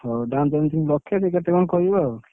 ହଉ ଦାମ payment ଲକ୍ଷେ କି କେତେ କଣ କହିବ ଆଉ